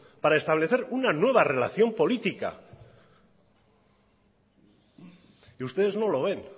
para establecer una nueva relación política y ustedes no lo ven